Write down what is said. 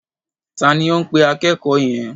Ta ni ó ń pe akẹ́kọ̀ọ́ yẹn?